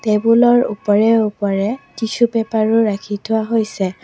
Table ৰ ওপৰে ওপৰে টিশ্বু পেপাৰ ও ৰাখি থোৱা হৈছে।